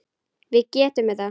Við getum þetta.